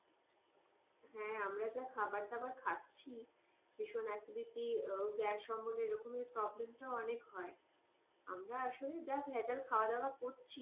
হ্যাঁ আমরা যা খাবার দাবার খাচ্ছি ভীষণ acidity গ্যাস অম্বলের এই রকম problem তো অনেক হয় আমরা আসলে যা ভেজাল খাবার দাওয়া করছি,